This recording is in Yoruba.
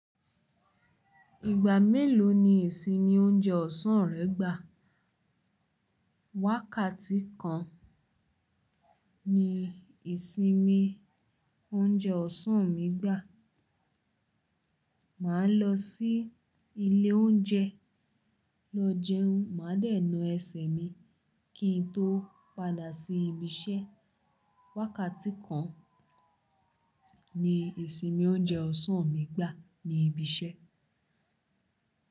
Ìgbà mélòó ni ìsinmi oúnjẹ ọ̀sán rẹ gbà? Wákàtí kan ni ìsinmi oúnjẹ ọ̀sán mi gbà. Màá lọ sí ilé oúnjẹ lọ jẹun, màá dẹ̀ ńá ẹsẹ̀ mi kí n tó padà sí ibi iṣẹ́. Wákàtí kan ni ìsinmi oúnjẹ ọ̀sán mi gbà ní ibi iṣẹ́.